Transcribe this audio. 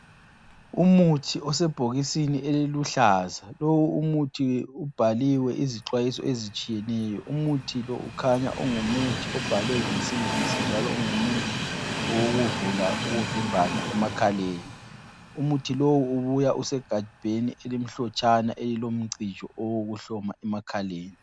Umuthi osebhokisini eliluhlaza. Lowu umuthi ubhaliwe izixwayiso ezitshiyeneyo. Umuthi lo kukhanya ungumuthi obhalwe ngesingisi njalo ungumuthi owokuvula ukuvimbana emakhaleni. Umuthi lowu ubuya usegabheni elimhlotshana elilomcijo owokuhloma emakhaleni.